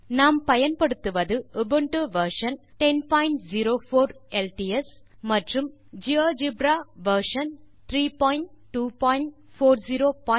GeoGebra ஐ துவக்க நான் Linux operating system Ubuntu version 1004 LTS மற்றும் ஜியோஜெப்ரா வெர்ஷன் 32400 ஐ பயன்படுத்துகிறேன்